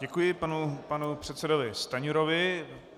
Děkuji panu předsedovi Stanjurovi.